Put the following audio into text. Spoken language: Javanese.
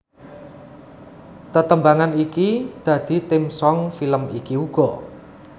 Tetembangan iki dadi theme song film iki uga